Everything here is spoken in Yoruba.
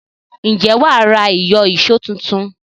Ǹjẹ́ wà á ra ìyọ̀ṣó tuntun?